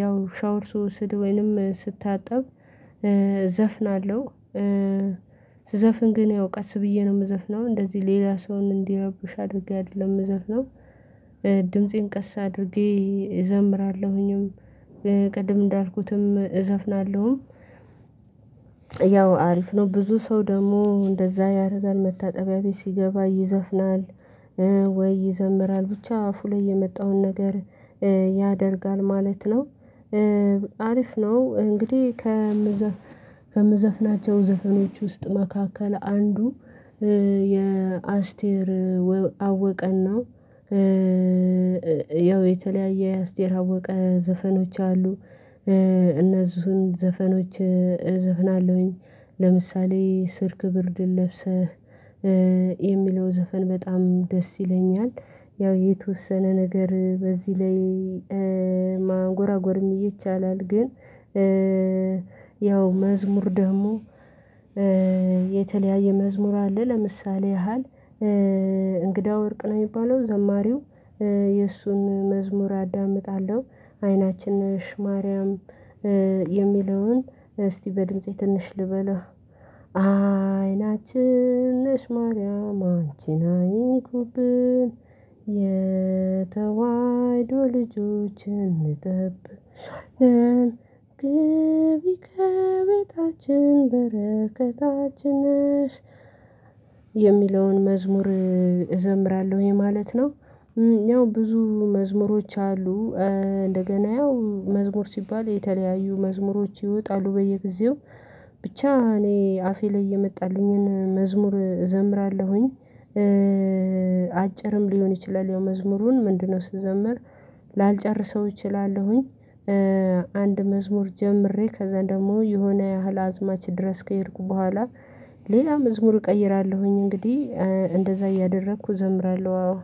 ያው ሻወር ስወስድ ወይንም ስታጠብ እዘፍናለሁ። ስዘፍን ግን ያው ቀስ ብዬ ነው የምዘፍነው እንደዚህ ሌላ ሰውን እንዲረብሽ አድርጌ አይደለም የምዘፍነው። ድምፄን ቀስ አድርጌ እዘምራለሁኝም ቅድም እንዳልኩትም እዘፍናለሁም። ያው አሪፍ ነው ብዙ ሰው ደግሞ እንደዛ ያደርጋል መታጠቢያ ቤት ሲገባ ይዘፍናል። ወይ ይዘምራል ብቻ አፉ ላይ የመጣውን ነገር ያደርጋል ማለት ነው። አሪፍ ነው እንግዲህ። ከምዘፍናቸው ዘፈኖች ውስጥ መካከል አንዱ የአስቴር አወቀና ያው የተለያየ የአስቴር አወቀ ዘፈኖች አሉ። እነሱን ዘፈኖች እዘፍናለሁኝ ለምሳሌ ስርክ ብርድ ለብሰህ የሚለው ዘፈን በጣም ደስ ይለኛል። ያው የተወሰነ ነገር በዚህ ላይ ማንጎራጎርም ይቻላል። ግን ያው መዝሙር ደግሞ የተለያየ መዝሙር አለ ለምሳሌ ያህል እንግዳ ወርቅ ነው የሚባለው ዘማሪው የእሱን መዝሙር አዳምጣለሁ። አይናችን ነሽ ማርያም የሚለውን እስቲ በድምፄ ትንሽ ልበለው አይናችን ነሽ ማርያም አንቺን አይንኩብን የተዋህዶ ልጆችን እንጥብ እንደብ ግቢ ከቤታችን በረከታችን ነሽ። የሚለውን መዝሙር እዘምራለሁ ይሄ ማለት ነው። ያው ብዙ መዝሙሮች አሉ። እንደገና ያው መዝሙር ሲባል የተለያዩ መዝሙሮች ይወጣሉ በየጊዜው ብቻ እኔ አፌ ላይ እየመጣልኝን መዝሙር እዘምራለሁኝ። አጭርም ሊሆን ይችላል ያው መዝሙሩን ምንድነው ስዘምር ላልጨርሰው እችላለሁኝ። አንድ መዝሙር ጀምሬ ከዛ ደግሞ የሆነ ያህል አዝማች ድረስ ከሄድኩ በኋላ ሌላም መዝሙር እቀይራለሁኝ እንግዲህ እንደዛ እያደረኩ እዘምራለሁ